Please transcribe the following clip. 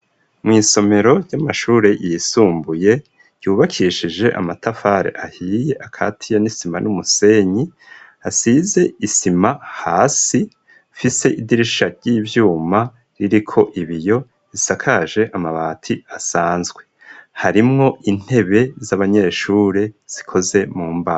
Mw'isomero ry'amashuri yisumbuye yubakishije amatafare ahiye akatiya n'isima n'umusenyi asize isima hasi fise idirisha ry'ibyuma ririko ibiyo isakaje amabati asanzwe harimwo intebe z'abanyeshure zikoze mu mbaho.